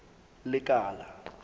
lekala